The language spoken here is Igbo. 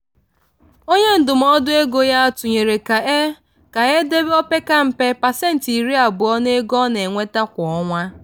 onye ndụmọdụ ego ya tụnyere ka e ka e debe opeka mpa pasentị iri abụọ nke ego ọ na-enweta kwa ọnwa.